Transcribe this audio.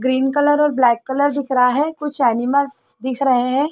Green colour black colour दिख रहा है कुछ एनिमल्स दिख रहे हैं।